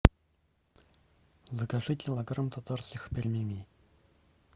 закажи килограмм татарских пельменей